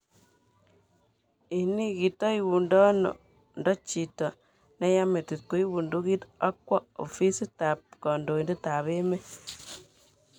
Ini kitoigundono ndo chito neya metit koib bundukit akwo ofist tab kodoin'det ab emet.